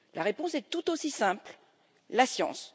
La réponse est tout aussi simple la science.